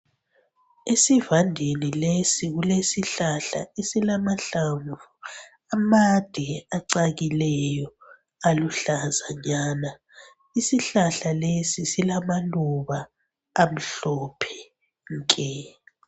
Esivandeni lesi kulesihlahla esilamahlamvu amade acakileyo aluhlaza nyana isihlahla lesi silama luba amhlophe nke